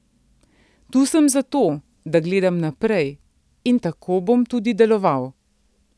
Tu sem zato, da gledam naprej, in tako bom tudi deloval.